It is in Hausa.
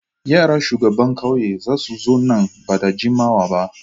Yara shugaban kauye za su zo nan ba da jimawa ba.